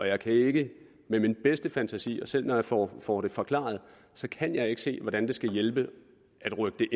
jeg kan ikke med min bedste fantasi selv når jeg får får det forklaret se hvordan det skal hjælpe at rykke